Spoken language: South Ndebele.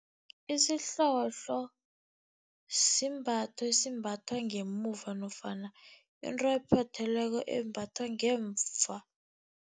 Isihlohlo simbatho esimbathwa ngemuva nofana into ephothelweko embathwa ngemva.